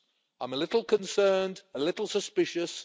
I'm a little concerned, a little suspicious.